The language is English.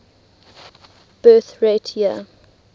birth rate year